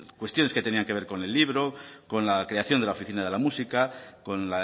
cuestiones que tenían que ver con el libro con la creación de la oficina de la música con